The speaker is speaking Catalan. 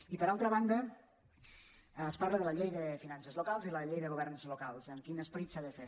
i per altra banda es parla de la llei de finances lo·cals i la llei de governs locals amb quin esperit s’ha de fer